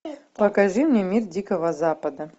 покажи мне мир дикого запада